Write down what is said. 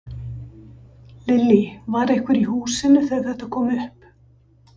Lillý: Var einhver í húsinu þegar þetta kom upp?